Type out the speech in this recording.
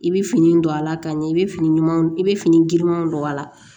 I bɛ fini don a la ka ɲɛ i bɛ fini ɲumanw don i bɛ fini girinmanw don a la